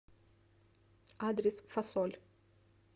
адрес фасоль